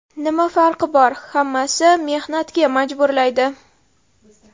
Nima farqi bor, hammasi mehnatga majburlaydi.